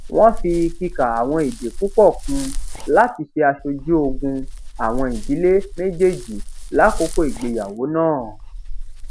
wón fi kikà àwọn èdè púpò kun láti ṣe aṣojú ogún àwọn ìjdíle méjèèjì lákòókò ìgbéyàwó náà